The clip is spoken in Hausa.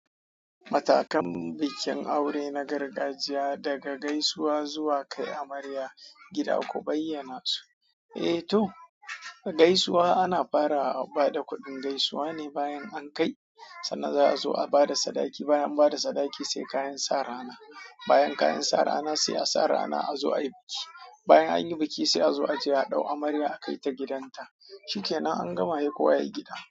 Matakan bikin aure na gargajiya daga gaisuwa zuwa kai amarya gida, ku bayyana su. Eh to, gaisuwa ana fara a ba da kuɗin gaisuwa ne bayan an kai, sannan za a zo a ba da sadaki. Bayan ba da sadaki sai kayan sa rana. Bayan kayan sa rana se a sa rana azo'ai biki. Bayan anyi biki se azo ace a dau amarya a kaita gidanta Cike nan an gama hekowa yai gida.